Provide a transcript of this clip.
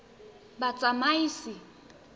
batsamaisi